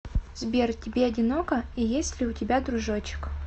сбер тебе одиноко и есть ли у тебя дружочек